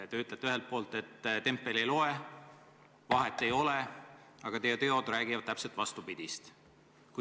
Te ütlete ühelt poolt, et tempel ei loe, vahet ei ole, aga teie teod räägivad täpselt vastupidist.